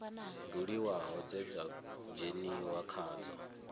buliwaho dze dza dzheniwa khadzo